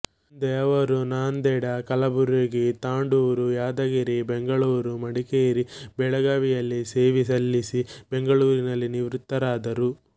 ಮುಂದೆ ಅವರು ನಾಂದೇಡ ಕಲಬುರಗಿ ತಾಂಡೂರು ಯಾದಗಿರಿ ಬೆಂಗಳೂರು ಮಡಿಕೇರಿ ಬೆಳಗಾವಿಗಳಲ್ಲಿ ಸೇವೆ ಸಲ್ಲಿಸಿ ಬೆಂಗಳೂರಿನಲ್ಲಿ ನಿವೃತ್ತರಾದರು